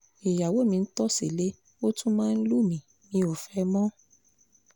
ìyàwó mi ń tọ́ sílé ó tún máa ń lù mí mi ò fẹ́ ẹ mọ́